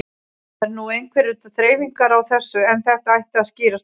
Það eru nú einhverjar þreifingar á þessu en þetta ætti að skýrast fljótlega.